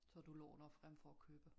Så du låner frem for at købe